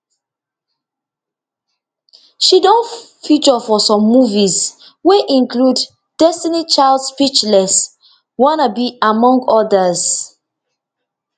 she don feature for some movies wey include destiny child speechless wanna be among odas